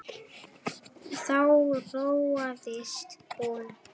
Þá róaðist hún.